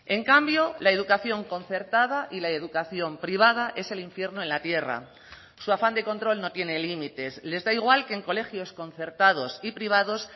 en cambio la educación concertada y la educación privada es el infierno en la tierra su afán de control no tiene límites les da igual que en colegios concertados y privados